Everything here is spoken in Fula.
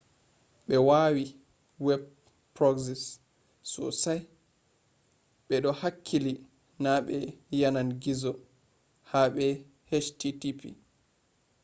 be wawi web proxies sosai: be do hakkili na be yanan gizo habe http